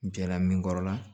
Jɛla min kɔrɔ la